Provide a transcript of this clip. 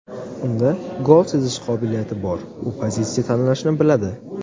Unda gol sezish qobiliyati bor, u pozitsiya tanlashni biladi.